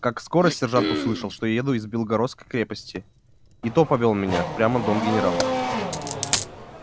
как скоро сержант услышал что я еду из белогорской крепости и то повёл меня в дом генерала